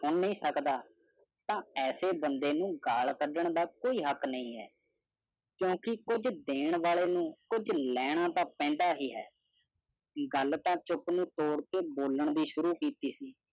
ਨਹੀਂ ਸਕਦਾ ਤਾ ਐਸੇ ਬੰਦੇ ਨੂੰ ਗੱਲ ਕਢਣ ਦਾ ਕੋਈ ਹੱਕ ਨਹੀਂ ਹੈ ਕਿਉਂਕਿ ਕੁਛ ਦੇਣ ਵਾਲੇ ਨੂੰ ਕੁਛ ਲੈਣਾ ਤਾ ਪੈਂਦਾ ਹੀ ਹੈ ਗੱਲ ਤਾ ਚੁੱਪ ਨੂੰ ਤੋੜ ਕੇ ਬੋਲਣ ਦੀ ਸ਼ੁਰ ਕੀਤੀ ਸੀ